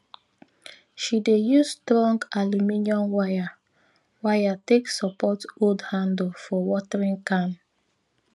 she dey use strong aluminium wire wire take support old handle for watering can